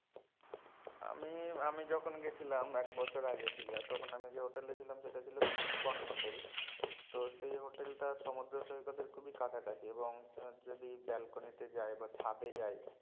আমি আমি যখন গেছিলাম একবছর আগে দীঘা তখন আমি যে হোটেলে ছিলাম সেটা ছিল পিন্কন হোটেল তো সেই হোটেলটা সমুদ্র সৈকতের খুব কাছাকাছি এবং যদি balcony তে যাই বা ছাদে যায়